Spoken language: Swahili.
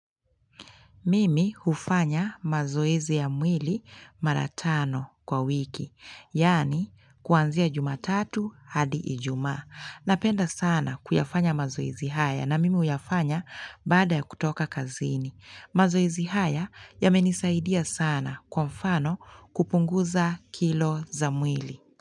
Mimi hufanya mazoezi ya mwili mara tano kwa wiki. Yaani kuanzia jumatatu hadi ijumaa. Napenda sana kuyafanya mazoezi haya na mimi huyafanya baada kutoka kazini. Mazoezi haya yamenisaidia sana kwa mfano kupunguza kilo za mwili.